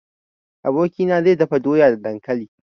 Abokina zai dafa doya da dankali.